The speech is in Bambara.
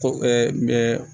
Ko n bɛ